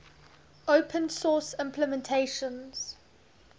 open source implementations